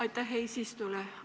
Aitäh eesistujale!